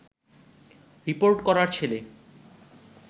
report করার ছেলে